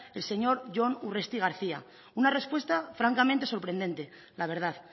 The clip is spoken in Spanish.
el señor jon urresti garcía una respuesta francamente sorprendente la verdad